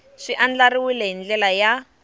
swi andlariwile hi ndlela ya